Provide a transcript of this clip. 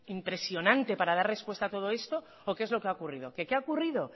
impresionante para dar respuesta a todo esto o qué es lo que ha ocurrido que qué ha ocurrido